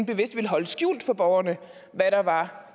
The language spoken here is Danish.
bevidst ville holde skjult for borgerne hvad der var